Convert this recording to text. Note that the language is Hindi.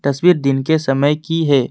तस्वीर दिन के समय की है।